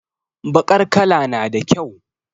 Bakar kala nada kyau